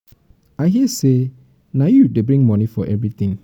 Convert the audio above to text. i hear say na you wey dey bring money for everything